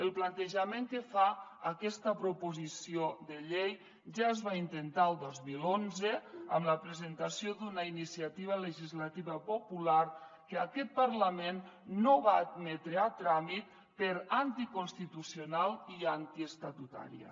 el plantejament que fa aquesta proposició de llei ja es va intentar el dos mil onze amb la presentació d’una iniciativa legislativa popular que aquest parlament no va admetre a tràmit per anticonstitucional i antiestatutària